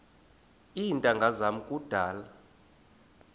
iintanga zam kudala